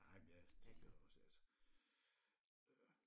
Nej men jeg tænker også at øh